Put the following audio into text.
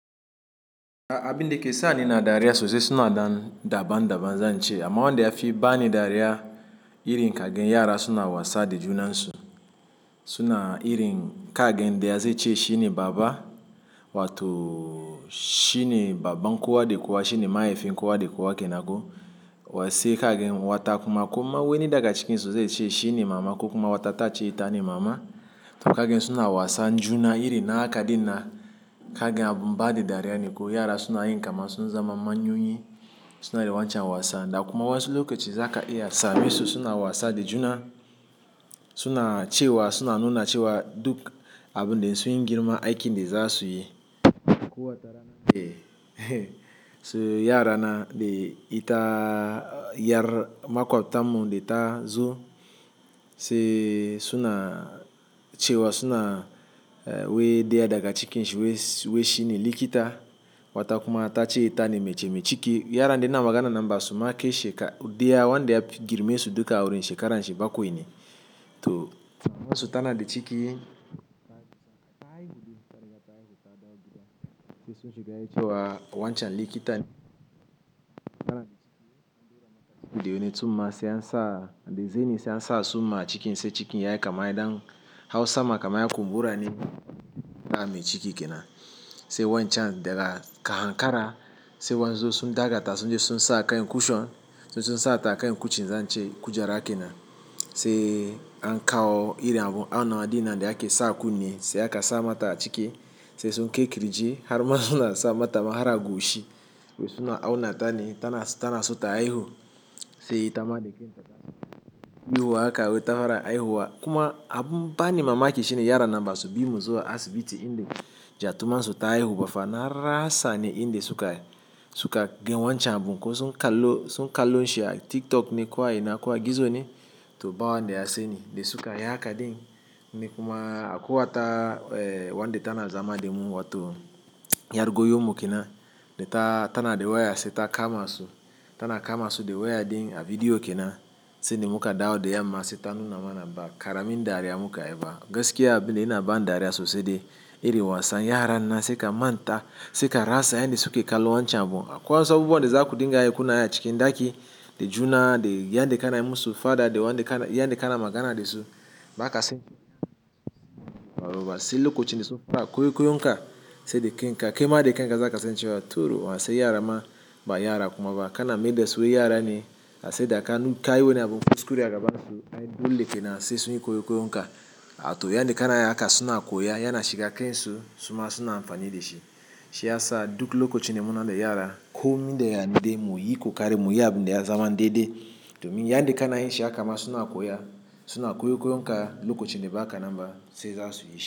Abin da ke sani na dariya sosai suna da daban-daban zan ce amma wanda ya fi bani dariya irin kagen yara suna wasa da junansu suna irin kagan daya zai ce shine baba wato shine baban kowa da kowa shine mahaifin kowa da kowa kenan ko sai kagen wata kuma kuma wai ni daga cikin su zai ce shine mama kuma wata ta ce ita ne mama to kagen suna wasa juna irin haka dina kagen abun ba da dariya ne ko yara suna yin kama sun zama manyan suna wancan wasan da kuma wasu lokaci zaka iya samun su suna wasa da juna suna cewa suna nuna cewa duk abun da sun yi girma aikin da za su yi. Ko wata rana de sai yara na de ita yar makwabta mun de ta zo sai suna cewa suna eh wai daya daga cikin su wai shi ne likita wata kuma ta ce ita ne mace mai ciki yara da ina maganan nan ba su kai ma shekara daya wanda ya girme su duka wurin shekarar shi bakwai ne to mamarsu tana da ciki. Wancan likita ne. Video ne tsumma sai an sa da zani sai an sa tsumma a cikin sai cikin ya yi kama ɗan hau sama kamar ya kumbura ne ba mai ciki kenan. Sai wancan daga kan kara sai waɗansu sun daga ta sun je sun sa kan cushion sai sun sa ta kan cushion zan ce kujera kenan sai an kawo irin abun auna wa dinnan da ake sa kunne sai aka sa mata a ciki sai sun kai ƙirji har ma suna sa mata ma har a goshi wai suna auna ta ne tana so ta haihu sai ita ma da kanta za ta haihu, haka wai ta fara haihuwa kuma abun bani mamaki shine yaran nan ba su bi mu zuwa asibiti in da gyatumar su ta haihu ba fa na rasa ne in da suka suka ga wancan abun ko sun kallo sun kallo shi a TikTok ne ko a ina ko a gizo ne, to ba wanda ya sani da suka yi haka din ni kuma akwai wata eh wanda tana zama da mu wato 'yar goyon mu kenan da ta tana da waya sai ta kama su tana kama su da waya din a bidiyo kenan sai da muka dawo da yamma sai ta nuna mana ba ƙaramin dariya muka yi ba gaskiya abin dai yana bani dariya sosai dai irin wasan yaran nan sai ka manta sai ka rasa yanda suke kallon wancan abun. Akwai wasu abubuwan da za ku dinga yi kuna yi a cikin ɗaki da juna da yanda kana yi musu faɗa da wanda, yanda kana magana da su ba ka sani ba. Sai lokacinda suka, suna kwaikwayon ka sai da kanka kai ma da kaika za ka san cewa durun uwa su yara ma, ba yara kuma ba kana maida su yara ne. Ka san da ka nu, kayi wani abun kuskure a gabansu ai dole kenan sai sunyi koikoyon ka. Ah to yanda kana yin haka suna koya yana shiga kan su suma suna amfani da shi. Shiyasa duk lokacin da munada yara komin yaya dai muyi kokari muyi abun da ya zama daidai domin yanda kanayin shi haka ma suna koya suna koikoyon ka lokacin da ba ka nan ba sai za su yi shi.